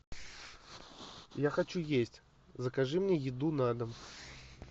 я хочу есть закажи мне еду на дом